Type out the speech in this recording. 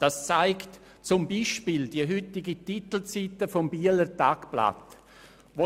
Das zeigt beispielsweise auch die heutige Titelseite des «Bieler Tagblatt».